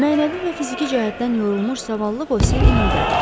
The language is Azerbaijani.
Mənəvi və fiziki cəhətdən yorulmuş zavallı Bosir inildədi.